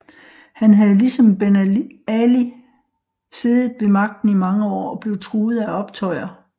Han havde ligesom Ben Ali siddet ved magten i mange år og blev truet af optøjer